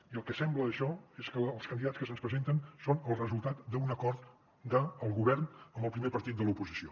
i el que sembla això és que els candidats que se’ns presenten són el resultat d’un acord del govern amb el primer partit de l’oposició